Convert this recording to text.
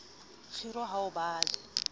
kgiro a ho ba le